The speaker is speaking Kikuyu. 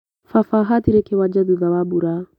Baba ahatire kĩwanja thutha wa mbura.